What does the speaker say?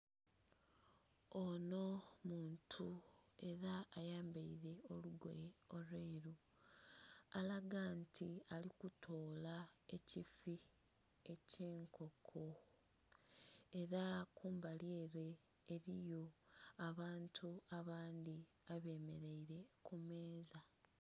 Onho muntu era ayambaire olugoye olweru alaga nti ali kutola ekifii ekye enkoko era kumbali ere eriyo abantu abandhi abemereire ku meeza.